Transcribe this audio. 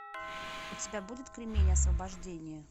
у тебя будет кремень освобождение